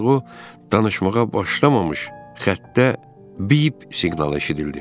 Ancaq o, danışmağa başlamamış xəttdə bip siqnalı eşidildi.